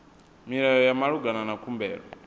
milayo ya malugana na khumbelo